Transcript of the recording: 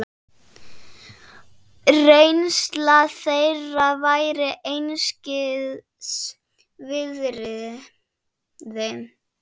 Reynsla þeirra væri einskis virði.